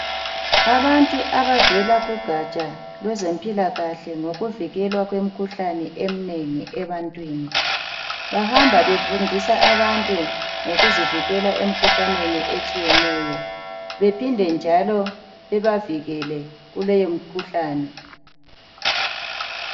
Abantu abavela kugatsha lwezempilakahle lokuvikelwa kwe mkhuhlane emnengi ebantwini .Bahamba befundisa abantu ngokuzivikela emkhuhlaneni etshiyeneyo bephinde njalo bebavikele kuleyo mkhuhlane .